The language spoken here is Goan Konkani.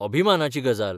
अभिमानाची गजाल.